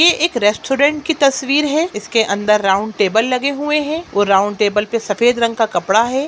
ये एक रेस्टोरेंट की तस्वीर है इसके अंदर राउन्ड टेबल लगे हुए है वो राउन्ड टेबल पे सफेद रंग का कपड़ा है।